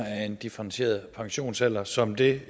af en differentieret pensionsalder som det